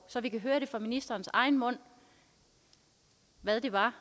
så vi kan høre fra ministerens egen mund hvad det var